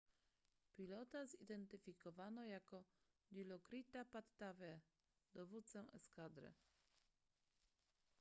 pilota zidentyfikowano jako dilokrita pattavee dowódcę eskadry